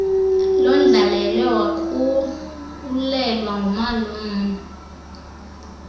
londlalelwe wakhawulelwa ngumalume